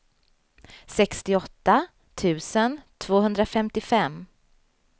sextioåtta tusen tvåhundrafemtiofem